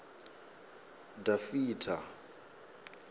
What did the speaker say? dafitha